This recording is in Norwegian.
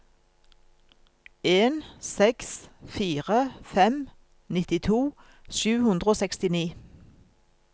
en seks fire fem nittito sju hundre og sekstini